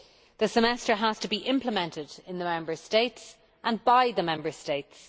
The Semester has to be implemented in the Member States and by the Member States.